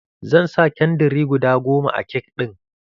Zan sa kandiri guda goma a kek ɗin.